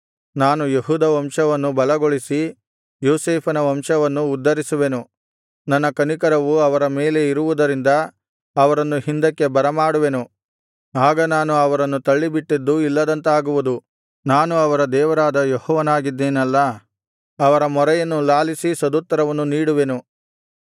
ನಾನು ಯೆಹೂದ ವಂಶವನ್ನು ಬಲಗೊಳಿಸಿ ಯೋಸೇಫನ ವಂಶವನ್ನು ಉದ್ಧರಿಸುವೆನು ನನ್ನ ಕನಿಕರವು ಅವರ ಮೇಲೆ ಇರುವುದರಿಂದ ಅವರನ್ನು ಹಿಂದಕ್ಕೆ ಬರಮಾಡುವೆನು ಆಗ ನಾನು ಅವರನ್ನು ತಳ್ಳಿಬಿಟ್ಟಿದ್ದು ಇಲ್ಲದಂತಾಗುವುದು ನಾನು ಅವರ ದೇವರಾದ ಯೆಹೋವನಾಗಿದ್ದೇನಲ್ಲಾ ಅವರ ಮೊರೆಯನ್ನು ಲಾಲಿಸಿ ಸದುತ್ತರವನ್ನು ನೀಡುವೆನು